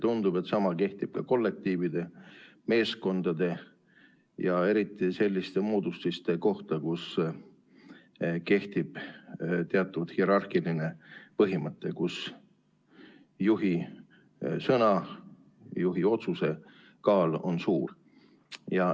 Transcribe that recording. Tundub, et sama kehtib ka kollektiivide, meeskondade ja eriti selliste moodustiste kohta, kus kehtib teatud hierarhiline põhimõte, kus juhi sõna, juhi otsuse kaal on suur.